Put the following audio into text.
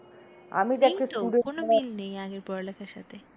আগের পড়ালেখার সাথে।